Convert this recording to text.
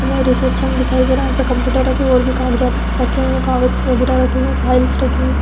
हमें रिसेप्शन दिखाई दे रहा है। यहाँ पे कंप्यूटर रखे हुए और भी कागजात रखे हुए हैं। कागज वगेरा रखे हुए हैं। फाइल्स रखे हुए हैं।